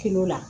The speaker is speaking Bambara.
la